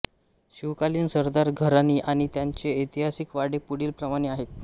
शिवकालीन सरदार घराणी आणी त्यांचे ऐतिहासिक वाडे पुढीलप्रमाणे आहेत